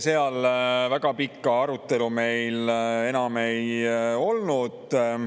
Seal väga pikka arutelu meil enam ei olnud.